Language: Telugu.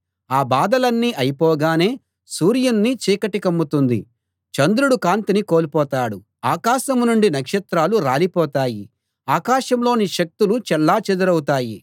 ఆ బాధలన్నీ అయిపోగానే సూర్యుణ్ణి చీకటి కమ్ముతుంది చంద్రుడు కాంతిని కోల్పోతాడు ఆకాశం నుండి నక్షత్రాలు రాలిపోతాయి ఆకాశంలోని శక్తులు చెల్లాచెదరౌతాయి